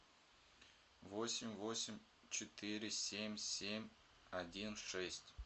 восемь восемь четыре семь семь один шесть